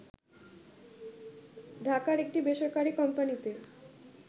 ঢাকার একটি বেসরকারি কোম্পানিতে